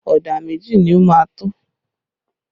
Ọ̀dà méjì ni ó máa tó?